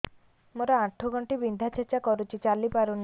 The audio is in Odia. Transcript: ମୋର ଆଣ୍ଠୁ ଗଣ୍ଠି ବିନ୍ଧା ଛେଚା କରୁଛି ଚାଲି ପାରୁନି